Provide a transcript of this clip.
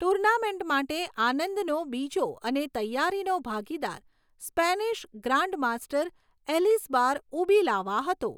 Tournament માટે આનંદનો બીજો અને તૈયારીનો ભાગીદાર સ્પેનિશ ગ્રાન્ડમાસ્ટર એલિઝબાર ઉબિલાવા હતો.